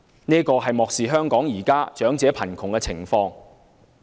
這是漠視了香港現時長者貧窮的情況。